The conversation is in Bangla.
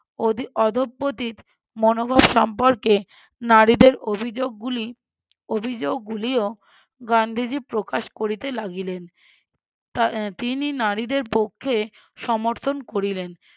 অধি~ অধঃপতিত মনোভাব সম্পর্কে নারীদের অভিযোগ গুলি অভিযোগগুলিও গান্ধীজী প্রকাশ করিতে লাগিলেন তার তিনি নারীদের পক্ষে সমর্থন করিলেন